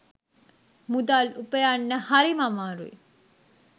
මුදල් උපයන්න හරිම අමාරුයි